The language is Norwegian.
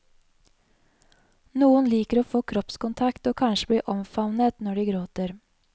Noen liker å få kroppskontakt og kanskje bli omfavnet når de gråter.